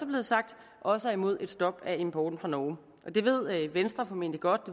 blevet sagt også er imod et stop af importen fra norge det ved venstre formentlig godt